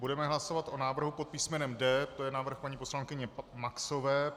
Budeme hlasovat o návrhu pod písmenem D, to je návrh paní poslankyně Maxové.